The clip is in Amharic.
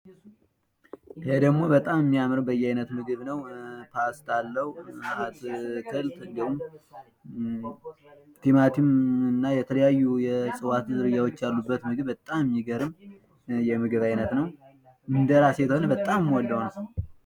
ይሄ ደግሞ በጣም የሚያምር በዬአይነት ምድብ ነው የተለያዩ ነገሮች አሉት። አንደ ቲማቲም ፣ አትክልትንና የተለያዩ ነገሮች ያሉት ተወዳጅ ምግብ ነው።